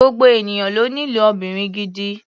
Gbogbo ènìyàn ló nílò obìnrin gidi.